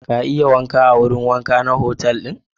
Ka iya wanka a wurin wanka na otal ɗin?